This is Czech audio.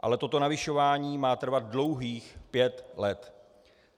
Ale toto navyšování má trvat dlouhých pět let.